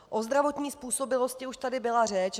O zdravotní způsobilosti už tady byla řeč.